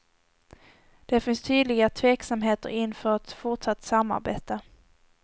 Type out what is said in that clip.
Det finns tydliga tveksamheter inför ett fortsatt samarbete.